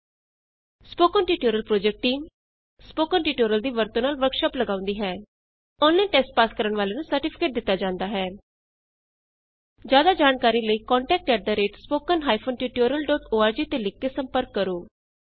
spoken tutorial project team spoken tutorial ਦੀ ਵਰਤੋਂ ਨਾਲ ਵਰਕਸ਼ਾਪ ਲਗਾਉਂਦੀ ਹੈ ਔਨਲਾਈਨ ਟੈਸਟ ਪਾਸ ਕਰਨ ਵਾਲਿਆਂ ਨੂੰ ਸਰਟੀਫਿਕੇਟ ਦਿਤਾ ਜਾਂਦਾ ਹੈ ਜਿਆਦਾ ਜਾਣਕਾਰੀ ਲਈ contact at spoken hyphen tutorial dot org ਤੇ ਲਿਖ ਕੇ ਸੰਪਰਕ ਕਰੋ